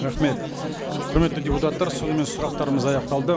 рахмет құрметті депутаттар сонымен сұрақтарымыз аяқталды